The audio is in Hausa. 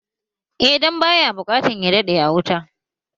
Eh dan baya buƙatan ya daɗe a wuta